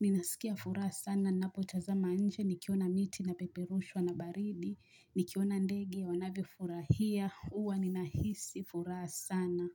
ninasikia furaha sana napotazama nje, nikiona miti inapeperushwa na baridi, nikiona ndege wanavyofurahia, huwa ninahisi furaha sana.